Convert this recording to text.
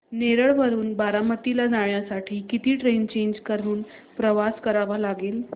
नेरळ वरून बारामती ला जाण्यासाठी किती ट्रेन्स चेंज करून प्रवास करावा लागेल